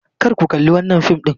Kar ku kalli wannan fim din!